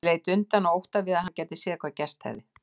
Ég leit undan af ótta við að hann gæti séð hvað gerst hefði.